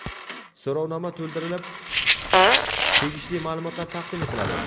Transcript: So‘rovnoma to‘ldirilib, tegishli maʼlumotlar taqdim etiladi.